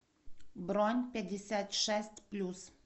бронь пятьдесят шесть плюс